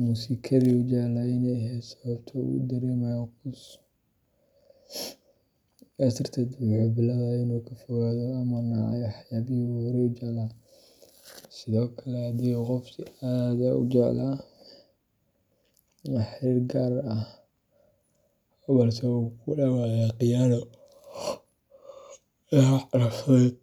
muusikadii uu jeclaa inay ahayd sababta uu u dareemayo quus. Sidaas darteed, wuxuu bilaabaa inuu ka fogaado ama nacay waxyaabihii uu horey u jeclaa. Sidaas oo kale, haddii qof uu si aad ah u jeclaa xiriir gaar ah balse uu ku dhammaaday khiyaano, dhaawac nafsadeed,